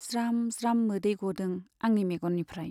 ज्राम ज्राम मोदै ग'दों आंनि मेग'ननिफ्राइ।